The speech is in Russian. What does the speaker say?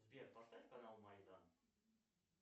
сбер поставь канал майдан